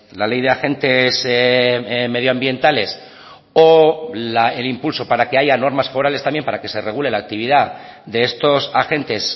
la ley de agentes medioambientales o el impulso para que haya normas forales también para que se regule la actividad de estos agentes